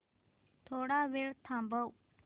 थोडा वेळ थांबव